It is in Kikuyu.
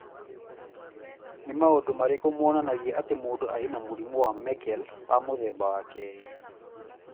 Nĩ maũndũ marĩkũ monanagia atĩ mũndũ arĩ na mũrimũ wa Meckel wa mũthemba wa kerĩ?